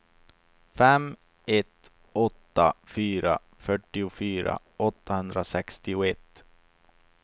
fem ett åtta fyra fyrtiofyra åttahundrasextioett